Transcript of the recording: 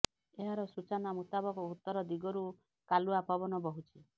ଏହାର ସୂଚନା ମୁତାବକ ଉତ୍ତର ଦିଗରୁ କାଲୁଆ ପବନ ବହୁଛି